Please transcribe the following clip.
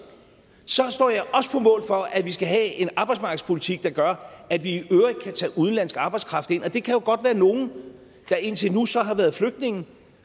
så står jeg også på mål for at vi skal have en arbejdsmarkedspolitik der gør at vi i øvrigt kan tage udenlandsk arbejdskraft ind og det kan jo godt være nogle der indtil nu så har været flygtninge og